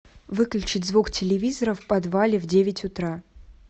выключить звук телевизора в подвале в девять утра